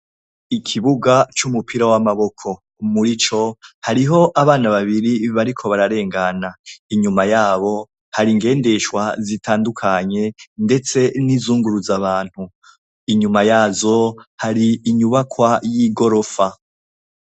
Ikibuga c'umupira w'amaboko, murico hari hariho abana babiri bariko bararengana. Inyuma yabo hari ingendeshwa zitandukanye, ndetse n'izunguruza abantu. Inyuma yazo hari inyubakwa y'igorofa.